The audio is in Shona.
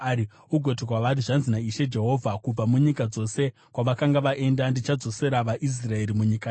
ugoti kwavari, ‘Zvanzi naIshe Jehovha: Kubva munyika dzose kwavakanga vaenda ndichadzosera vaIsraeri munyika yavo.